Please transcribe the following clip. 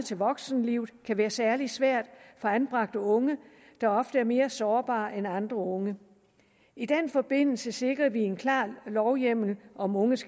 til voksenlivet kan være særlig svær for anbragte unge der ofte er mere sårbare end andre unge i den forbindelse sikrede vi en klar lovhjemmel om unges